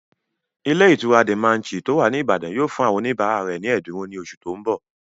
Ilé ìtura De Manchy tó wà ní Ìbàdàn yóò fún àwọn oníbàárà rẹ̀ ní ẹ̀dínwó ní oṣù tó n bọ̀